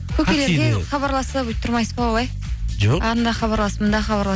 хабарласып өйтіп тұрмайсыз ба олай жоқ анда хабарласып мында